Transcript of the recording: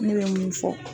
Ne bɛ mun fɔ